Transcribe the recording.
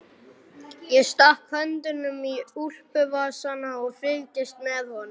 Ég stakk höndunum í úlpuvasana og fylgdist með honum.